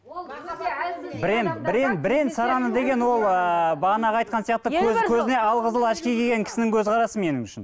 бірең сараны деген ол ыыы бағанағы айтқан сияқты көзіне алқызыл очки киген кісінің көзқарасы менің үшін